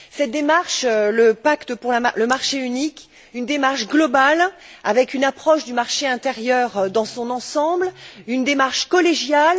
Cette démarche, l'acte pour le marché unique, une démarche globale, avec une approche du marché intérieur dans son ensemble, une démarche collégiale.